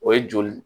O ye joli